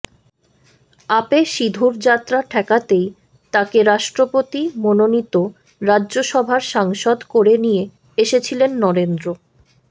আপে সিধুর যাত্রা ঠেকাতেই তাঁকে রাষ্ট্রপতি মনোনীত রাজ্যসভার সাংসদ করে নিয়ে এসেছিলেন নরেন্দ্র